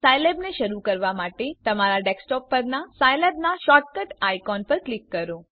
સાયલેબને શરૂ કરવા માટે તમારા ડેસ્કટોપ પરનાં સાયલેબનાં શૉર્ટકટ આઇકોન પર ક્લિક કરો